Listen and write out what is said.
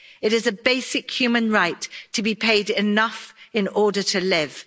It is a basic human right to be paid enough in order to live.